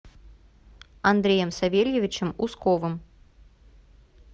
андреем савельевичем усковым